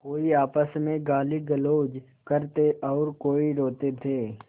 कोई आपस में गालीगलौज करते और कोई रोते थे